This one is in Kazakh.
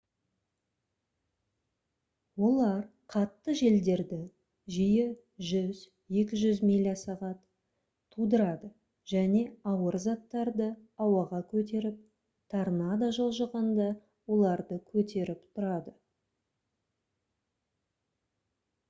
олар қатты желдерді жиі 100-200 миля/сағат тудырады және ауыр заттарды ауаға көтеріп торнадо жылжығанда оларды көтеріп тұрады